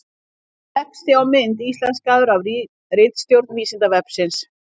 Texti á mynd íslenskaður af ritstjórn Vísindavefsins.